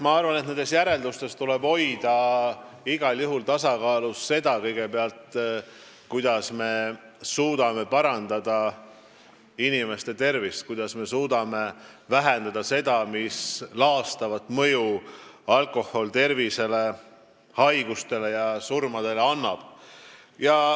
Ma arvan, et nende järelduste põhjal tuleb igal juhul tasakaalustada meetmeid, kuidas me suudame parandada inimeste tervist ja vähendada seda laastavat mõju, mida alkohol avaldab tervisele, tuues kaasa haigusi ja isegi surma.